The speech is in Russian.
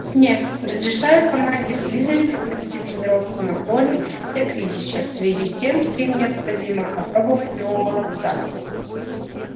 снегг разрешаю команде слизерина провести тренировку на поле для квиддича в связи с тем что им необходимо опробовать нового ловца